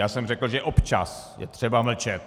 Já jsem řekl, že občas je třeba mlčet.